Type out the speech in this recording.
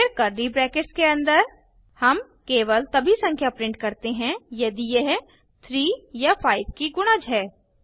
फिर curly brackets के अन्दर हम केवल तभी संख्या प्रिंट करते हैं यदि यह 3 या 5 की गुणज है